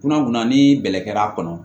Kunna kunna ni bɛlɛkɛl'a kɔnɔ